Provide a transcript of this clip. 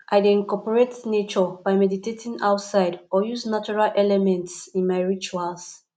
i dey incorporate nature by meditating outside or use natural elements in my rituals